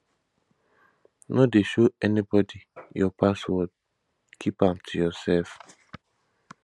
no dey show anybody your password keep am to yourself